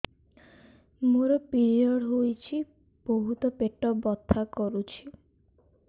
ମୋର ପିରିଅଡ଼ ହୋଇଛି ବହୁତ ପେଟ ବଥା କରୁଛି